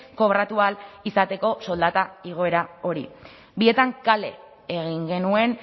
kobratu ahal izateko soldata igoera hori bietan kale egin genuen